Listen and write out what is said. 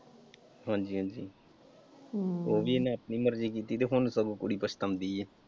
ਹਾਂਜੀ ਹਾਂਜੀ ਉਹ ਵੀ ਇਹਨੇ ਆਪਣੀ ਮਰਜੀ ਕੀਤੀ ਹੁਣ ਸਗੋਂ ਕੁੜੀ ਪਛਤਾਉਂਦੀ ਏ।